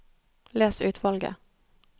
Les utvalget